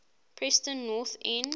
preston north end